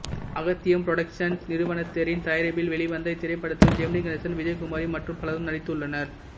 Agathiyam productions நிறுவனத்தினரின் தயாரிப்பில் வெளிவந்த இத்திரைப்படத்தில் ஜெமினி கணேசன் விஜயகுமாரி மற்றும் பலரும் நடித்துள்ளனர்